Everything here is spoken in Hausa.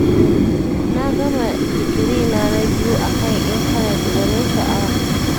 Na gama digirina na biyu a kan intanet, gwanin sha'awa